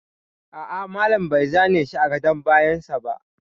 A'a, malam bai zane shi a gadon bayan sa ba